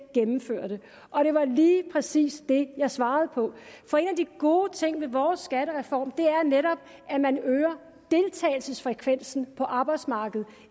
gennemførte og det var lige præcis det jeg svarede på for en af de gode ting ved vores skattereform er netop at man øger deltagelsesfrekvensen på arbejdsmarkedet